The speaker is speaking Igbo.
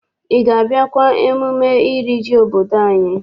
Ị ga- abịakwa mmemme iri ji obodo anyị?